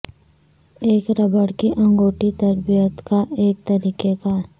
ایک ربڑ کی انگوٹی تربیت کا ایک طریقہ کار